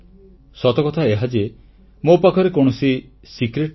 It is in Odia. ସତକଥା ଏହା ଯେ ମୋ ପାଖରେ କୌଣସି ରହସ୍ୟ ସୂତ୍ର ନାହିଁ